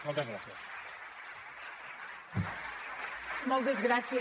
moltes gràcies